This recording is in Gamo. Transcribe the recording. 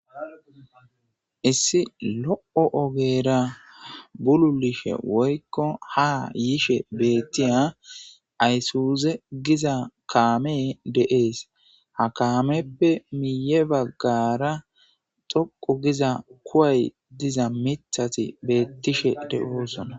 Issi lo'o ogera bululishe woyiko ha yishe beettiya aysuuze giza kaamee deees ha kaameppe miye baggara xoqo giza kuway diza mithati beettishe dosona